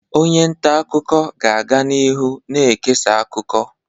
Onye nta akụkọ ga-aga n'ihu na-ekesa akụkọ.